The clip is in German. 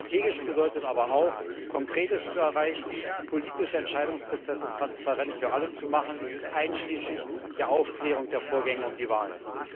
Strategisch bedeutet aber auch, Konkretes zu erreichen, politische Entscheidungsprozesse transparent für alle zu machen einschließlich der Aufklärung der Vorgänge um die Wahlen.